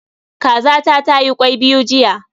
Kazata tayi kwai biyu jiya.